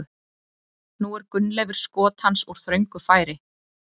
Nú er Gunnleifur skot hans úr þröngu færi.